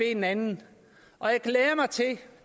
en anden